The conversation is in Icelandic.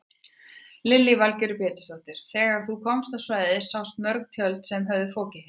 Lillý Valgerður Pétursdóttir: Þegar þú komst á svæðið sástu mörg tjöld sem höfðu fokið hérna?